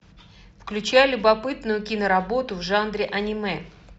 включай любопытную киноработу в жанре аниме